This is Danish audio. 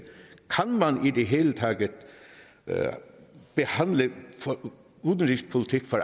man i det hele taget behandle udenrigspolitik for